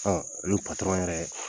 Ɔ ani patɔrɔn yɛrɛ